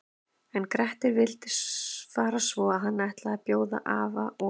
En Grettir vildi fara svo hann ætlaði að bjóða afa og